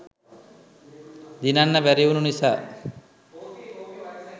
දිනන්න බැරිවුනු නිසා